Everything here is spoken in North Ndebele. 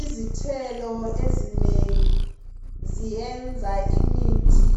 Izithelo ezinengi ziyenza imithi